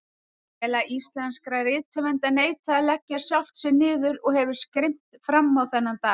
Félag íslenskra rithöfunda neitaði að leggja sjálft sig niður og hefur skrimt frammá þennan dag.